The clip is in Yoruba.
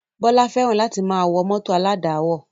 Bọlá fẹ́ràn láti máa wọ mọ́tò aládàáwọ̀